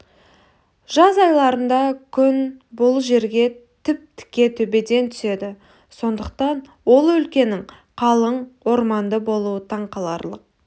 жаз айларында күн бұл жерге тіп-тіке төбеден түседі сондықтан ол өлкенің қалың орманды болуы таң қаларлық